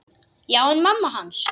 Já, en mamma hans.